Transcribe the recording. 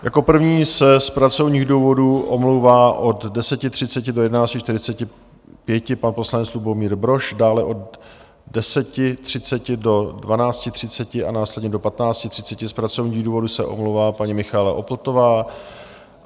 Jako první se z pracovních důvodů omlouvá od 10.30 do 11.45 pan poslanec Lubomír Brož, dále od 10.30 do 12.30 a následně do 15.30 z pracovních důvodů se omlouvá paní Michaela Opltová.